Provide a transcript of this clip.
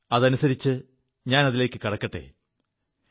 അതനുസരിച്ച് അതിലേക്കു കടക്കെ